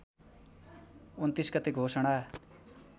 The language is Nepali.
२९ गते घोषणा